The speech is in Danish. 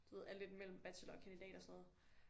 Du ved er lidt mellem bachelor og kandidat og sådan noget